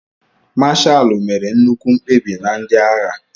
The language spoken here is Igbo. Mashalu mere nnukwu mkpebi na ndị agha.